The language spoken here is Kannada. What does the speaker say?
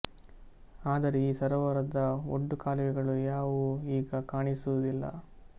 ಆದರೆ ಈ ಸರೋವರದ ಒಡ್ಡು ಕಾಲುವೆಗಳು ಯಾವುವೂ ಈಗ ಕಾಣಿಸುವುದಿಲ್ಲ